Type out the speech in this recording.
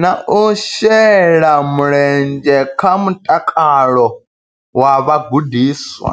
na u shela mulenzhe kha mutakalo wa vhagudiswa.